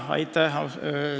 Aitäh!